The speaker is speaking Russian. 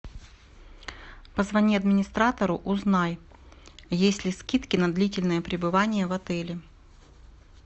позвони администратору узнай есть ли скидки на длительное пребывание в отеле